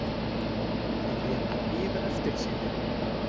Þeir létu bíða eftir sér.